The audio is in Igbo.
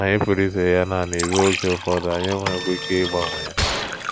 Anyị pụrụ izere ya nanị ruo oge ụfọdụ, anyị enweghịkwa ike ịgbanwe ya.